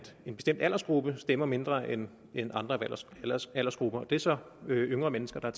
en bestemt aldersgruppe der stemmer mindre end andre aldersgrupper det er så yngre mennesker der